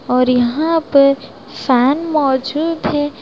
और यहां पे फैन मौजूद है।